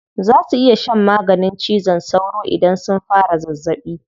Za su iya shan maganin cizon sauro idan sun fara zazzaɓi.